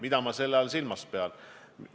Mida ma selle all silmas pean?